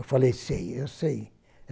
Eu falei, sei, eu sei.